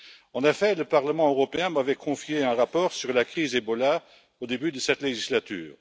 En effet, le Parlement européen m'avait confié un rapport sur la crise Ebola au début de cette législature.